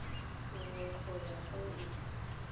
nngwe go ya go e